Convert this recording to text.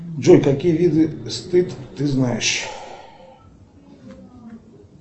джой какие виды стыд ты знаешь